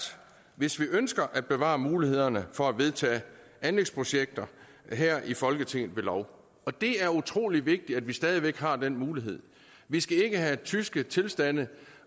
hvis vi ønsker at bevare muligheden for at vedtage anlægsprojekter her i folketinget ved lov og det er utrolig vigtigt at vi stadig væk har den mulighed vi skal ikke have tyske tilstande